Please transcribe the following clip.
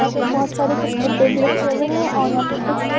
यहां पे बहोत सारे कुछ डिब्बे भी रखे हुए हैं और यहां पे कुछ ये --